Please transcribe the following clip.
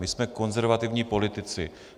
My jsme konzervativní politici.